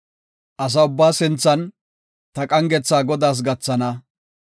Asa ubbaa sinthan ta qangetha Godaas gathana.